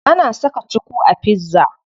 Ana saka cuku a pizza.